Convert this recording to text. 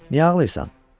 Niyə ağlayırsan?